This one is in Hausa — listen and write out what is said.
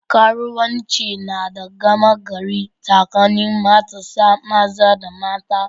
Karuwanci na da gama gari tsakanin matasa maza da mata.